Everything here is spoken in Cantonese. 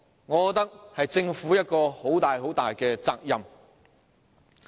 我覺得這是政府要負上的一大責任。